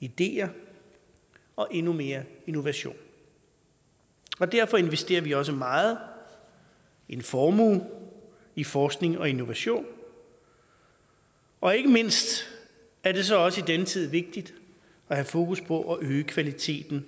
ideer og endnu mere innovation derfor investerer vi også meget en formue i forskning og innovation og ikke mindst er det så også i denne tid vigtigt at have fokus på at øge kvaliteten